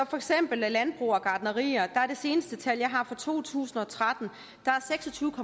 for eksempel landbrug og gartnerier at det seneste tal jeg har fra to tusind og tretten viser at seks og tyve